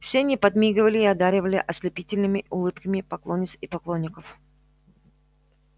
все они подмигивали и одаривали ослепительными улыбками поклонниц и поклонников